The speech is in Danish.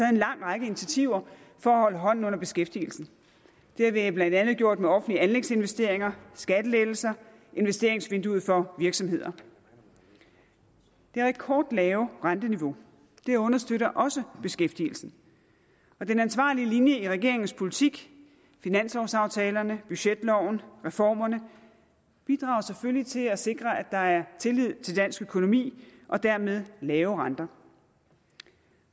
en lang række initiativer for at holde hånden under beskæftigelsen det har vi blandt andet gjort med offentlige anlægsinvesteringer skattelettelser investeringsvinduet for virksomheder det rekordlave renteniveau understøtter også beskæftigelsen og den ansvarlige linje i regeringens politik finanslovaftalerne budgetloven reformerne bidrager selvfølgelig til at sikre at der er tillid til dansk økonomi og dermed lave renter